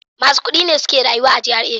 Masu kudi ne suke rayuwa a GRA.